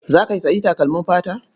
Za ka sayi takalmin fata?